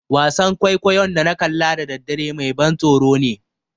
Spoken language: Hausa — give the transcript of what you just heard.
Wasan kwaikwayon da na kalla da daddare mai ban tsoro ne.